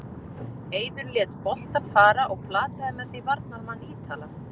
Eiður lét boltann fara og plataði með því varnarmann Ítala.